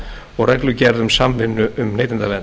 og reglugerð um samvinnu um neytendavernd